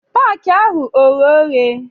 Paki ahụ oghe oghe?